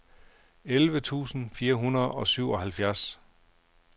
elleve tusind fire hundrede og syvoghalvfjerds